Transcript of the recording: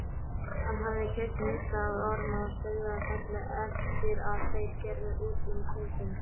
Hann hafði keypt nisti af Ormi á Sauðafelli eftir að þeir gerðu út um kaupin.